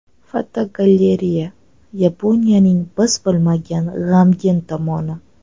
Fotogalereya: Yaponiyaning biz bilmagan g‘amgin tomoni.